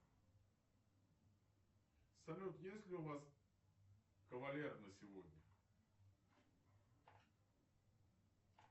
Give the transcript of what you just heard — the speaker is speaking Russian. салют есть ли у вас кавалер на сегодня